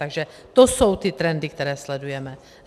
Takže to jsou ty trendy, které sledujeme.